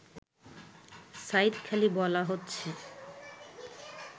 সাঈদখালি বলা হচ্ছে